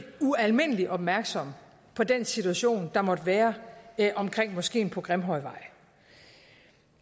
ualmindelig opmærksom på den situation der måtte være omkring moskeen på grimhøjvej